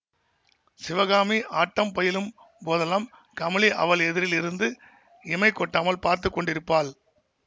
சிவகாமி ஆட்டம் பயிலும் போதெல்லாம் கமலி அவள் எதிரில் இருந்து இமை கொட்டாமல் பார்த்துக்கொண்டிருப்பாள்